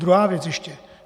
Druhá věc ještě.